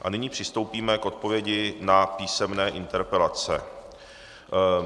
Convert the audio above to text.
A nyní přistoupíme k odpovědi na písemné interpelace.